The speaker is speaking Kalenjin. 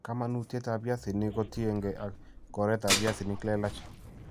kamanuutyetap piasinik kotiengei ak konoret ap piasinik leelach.